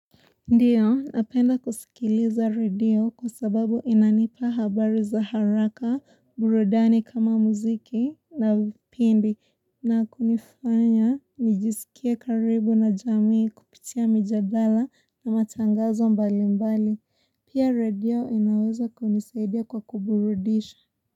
Ndiyo, napenda kusikiliza radio kwa sababu inanipa habari za haraka, burudani kama muziki na vipindi na kunifanya nijisikie karibu na jamii kupitia mijadala na matangazo mbali mbali. Pia radio inaweza kunisaidia kwa kuburudisha.